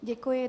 Děkuji.